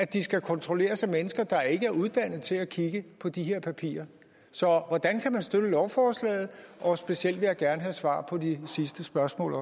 de skal kontrolleres af mennesker der ikke er uddannet til at kigge på de her papirer så hvordan kan man støtte lovforslaget og specielt vil jeg også gerne have svar på det sidste spørgsmål